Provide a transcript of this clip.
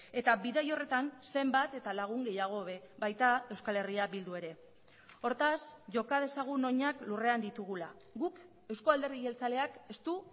eta bidai horretan zenbat eta lagun gehiago hobe baita euskal herria bildu ere hortaz joka dezagun oinak lurrean ditugula guk eusko alderdi jeltzaleak ez du